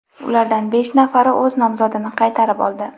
Ulardan besh nafari o‘z nomzodini qaytarib oldi.